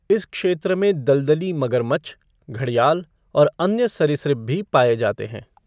इस क्षेत्र में दलदली मगरमच्छ, घड़ियाल और अन्य सरीसृप भी पाए जाते हैं।